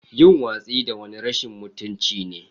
Yin watsi da wani rashin mutunci ne.